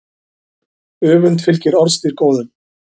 Öfund fylgir orðstír góðum.